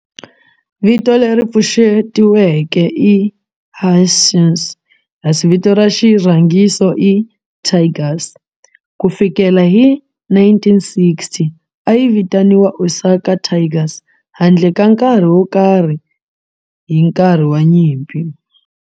Vito leri pfuxetiweke i "Hanshin" kasi vito ra xirhangiso i "Tigers". Ku fikela hi 1960, a yi vitaniwa Osaka Tigers handle ka nkarhi wo karhi hi nkarhi wa nyimpi.